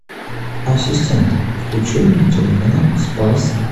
ассистент включи мне телеканал спас